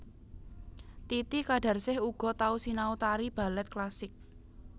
Titi Qadarsih uga tau sinau tari balèt klasik